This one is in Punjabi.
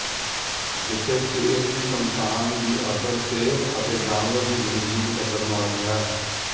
ਜਿੱਥੇ ਕੇਸ ਦੀ ਸੰਤਾਨ ਦੀ ਅਸਰ ਸਿਹਤ ਅਤੇ ਜਾਨਵਰ ਦੀ ਜ਼ਿੰਦਗੀ ਨੂੰ ਖ਼ਤਰਨਾਕ ਹੈ